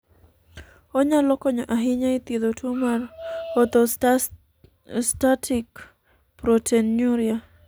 onyalo konyo ahinya e thiedho tuo mar orthostatic proteinuria